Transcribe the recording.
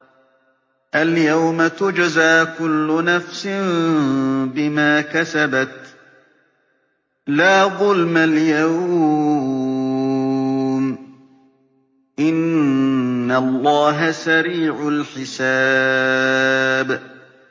الْيَوْمَ تُجْزَىٰ كُلُّ نَفْسٍ بِمَا كَسَبَتْ ۚ لَا ظُلْمَ الْيَوْمَ ۚ إِنَّ اللَّهَ سَرِيعُ الْحِسَابِ